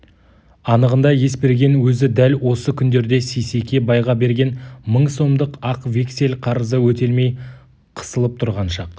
анығында есберген өзі дәл осы күндерде сейсеке байға берген мың сомдық ақ вексель қарызы өтелмей қысылып тұрған шақ